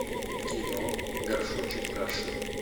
кино горшочек каши